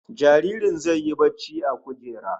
Jaririn zai yi barci a kujera